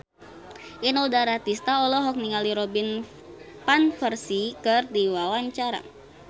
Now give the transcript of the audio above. Inul Daratista olohok ningali Robin Van Persie keur diwawancara